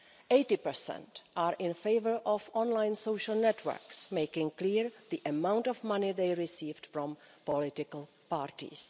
80 are in favour of online social networks making clear the amount of money they receive from political parties.